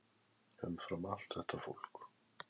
Umfram allt þetta fólk.